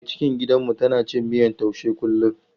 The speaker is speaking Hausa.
Mai cikin gidanmu tana cin miyan taushe kullum.